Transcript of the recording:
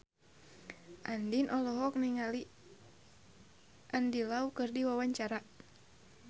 Andien olohok ningali Andy Lau keur diwawancara